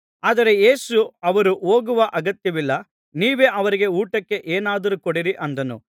ಆದರೆ ಯೇಸು ಅವರು ಹೋಗುವ ಅಗತ್ಯವಿಲ್ಲ ನೀವೇ ಅವರಿಗೆ ಊಟಕ್ಕೆ ಏನಾದರೂ ಕೊಡಿರಿ ಅಂದನು